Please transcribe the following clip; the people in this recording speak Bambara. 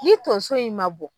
Ni tonso in ma bɔ